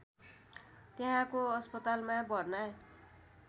त्यहाँको अस्पतालमा भर्ना